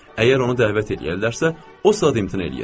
Əgər onu dəvət eləyərlərsə, o saat imtina eləyir.